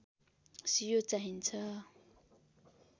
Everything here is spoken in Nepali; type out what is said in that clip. सियो चाहिन्छ